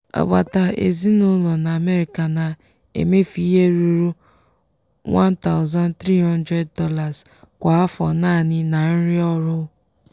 agbata ezinụlọ na america na-emefu ihe ruru $1300 kwa afọ naanị na nri ọhụụ.